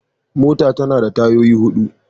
Mota tana da tayoyi hudu.